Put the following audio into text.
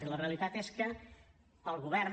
i la realitat és que el govern